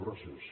gràcies